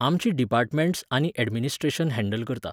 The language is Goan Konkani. आमचीं डिपार्टमेण्ट्स आनी ऍडमिनिस्ट्रेशन हँडल करता.